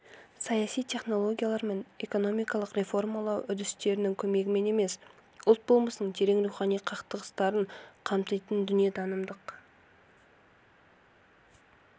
саяси технологиялар мен экономикалық реформалау үдістерінің көмегімен емес ұлт болмысының терең рухани қыртыстарын қамтитын дүниетанымдық